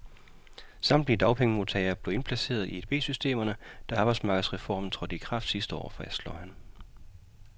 Samtlige dagpengemodtagere blev indplaceret i edbsystemerne, da arbejdsmarkedsreformen trådte i kraft sidste år, fastslår han.